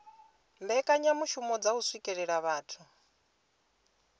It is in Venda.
mbekanyamishumo dza u swikelela vhathu